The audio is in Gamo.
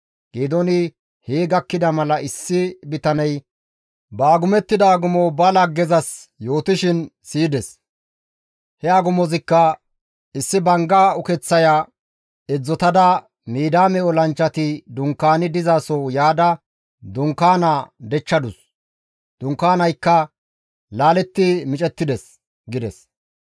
Geedooni hee gakkida mala issi bitaney ba agumettida agumo ba laggezas yootishin siyides; he agumozikka, «Issi bangga ukeththaya edzdzotada Midiyaame olanchchati dunkaani dizaso yaada dunkaanaa dechchadus; dunkaanaykka laaletti micettides» gides.